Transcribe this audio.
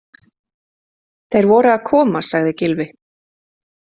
Þeir voru að koma- sagði Gylfi.